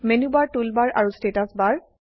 menu bar toolbar আৰু status বাৰ